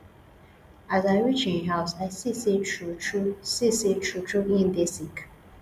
as i reach im house i see sey truetrue see sey truetrue im dey sick